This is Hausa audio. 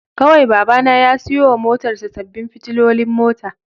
Kawai Babana ya siyo wa motarsa ​​sabbin fitilolin mota